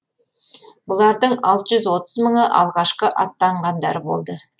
бұлардың алты жүз отыз мыңы алғашқы аттанғандар болды